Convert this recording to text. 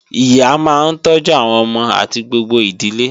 Ìyá máa ń tọ́jú àwọn ọmọ àti gbogbo ìdílé